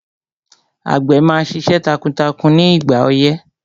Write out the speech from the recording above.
Àgbẹ̀ máa ṣiṣẹ́ takuntakun ní ìgbà ọyẹ́